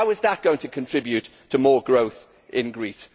How is that going to contribute to more growth in Greece?